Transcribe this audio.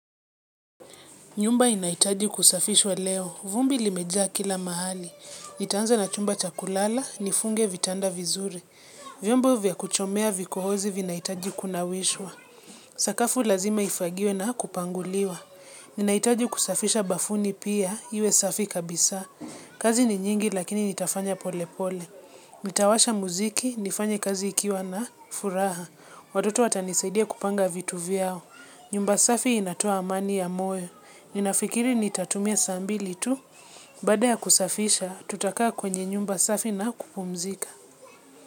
Nyumba inahitaji kusafishwa leo. Vumbi limejaa kila mahali. Nitaanza na chumba cha kulala, nifunge vitanda vizuri. Vyombo vya kuchomea vikohozi vinahitaji kunawishwa. Sakafu lazima ifagiwe na kupanguliwa. Ninahitaji kusafisha bafuni pia, iwe safi kabisa. Kazi ni nyingi lakini nitafanya pole pole nitawasha muziki, nifanye kazi ikiwa na furaha. Watoto watanisaidia kupanga vitu vyao. Nyumba safi inatoa amani ya moyo. Ninafikiri nitatumia saa mbili tu. Baada ya kusafisha, tutakaa kwenye nyumba safi na kupumzika.